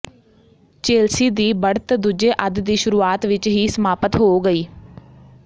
Chelsea ਦੀ ਬੜ੍ਹਤ ਦੂਜੇ ਅੱਧ ਦੀ ਸ਼ੁਰੂਆਤ ਵਿਚ ਹੀ ਸਮਾਪਤ ਹੋ ਗਈ